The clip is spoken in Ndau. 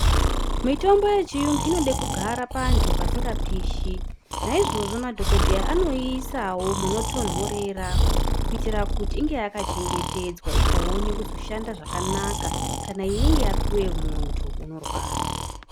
Mitombo yechiyungu inode kugara panthu pasingapishi naizvozvo madhokodheya anoyiisawo panotontorera kuitire kuti kana ichinge yapuwa munthu izoshanda zvakanaka.